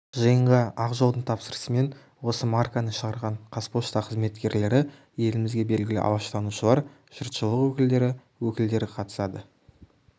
жиынға ақ жолдың тапсырысымен осы марканы шығарған қазпошта қызметкерлері елімізге белгілі алаштанушылар жұртшылық өкілдері өкілдері қатысады